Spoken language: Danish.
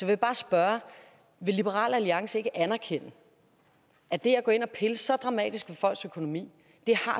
jeg bare spørge vil liberal alliance ikke anerkende at det at gå ind og pille så dramatisk ved folks økonomi